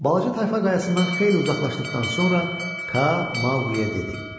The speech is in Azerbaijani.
Balaca tayfa qayalasından xeyli uzaqlaşdıqdan sonra Ka Mauqliyə dedi: